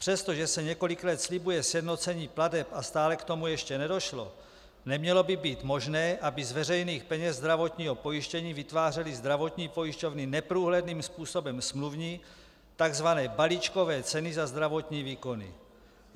Přestože se několik let slibuje sjednocení plateb a stále k tomu ještě nedošlo, nemělo by být možné, aby z veřejných peněz zdravotního pojištění vytvářely zdravotní pojišťovny neprůhledným způsobem smluvní tzv. balíčkové ceny za zdravotní výkony.